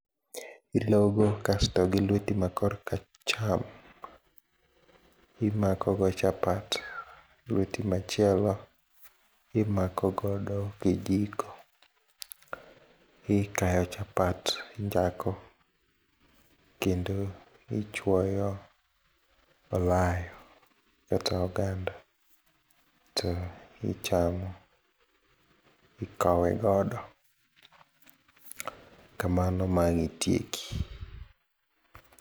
Ilogo kasto gi lweti ma kor kacham imakogo chapat, lweti machielo imako godo kijiko. Ikayo chapat injako, kendo ichuoyo olayo kata oganda to ichamo, ikowe godo kamano ma ang' itieki.